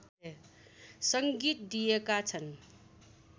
संगीत दिएका छन्